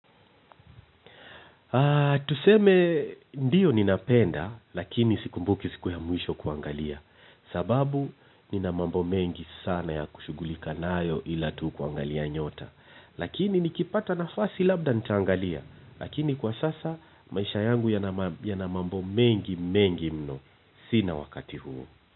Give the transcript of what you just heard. Tuseme ndiyo ninapenda, lakini sikumbuki siku ya mwisho kuangalia sababu nina mambo mengi sana ya kushugulika nayo ila tu kuangalia nyota. Lakini nikipata nafasi labda nitaangalia, lakini kwa sasa, maisha yangu yana mambo mengi mengi mno, sina wakati huo.